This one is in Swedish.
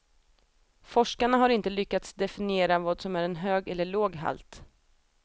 Forskarna har inte lyckats definiera vad som är en hög eller låg halt.